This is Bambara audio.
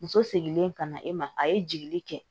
Muso seginlen ka na e ma a ye jigili kɛ